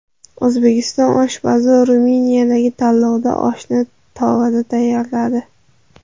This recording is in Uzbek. O‘zbek oshpazi Ruminiyadagi tanlovda oshni tovada tayyorladi.